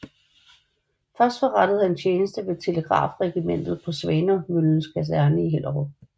Først forrettede han tjeneste ved Telegrafregimentet på Svanemøllens Kaserne i Hellerup